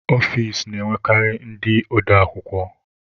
Ọfici na-enwekarị ndị ode akwukwọ.